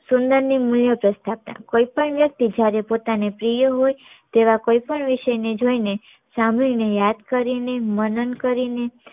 સુંદર ની મુલ્ય પ્રસ્થાના કોઈ પણ વ્યક્તિ જયારે પોતાને પ્રિય હોય તેવા કોઈ પણ વિષય ને જોઈ ને સાંભળી ને યાદ કરી ને માનન કરીને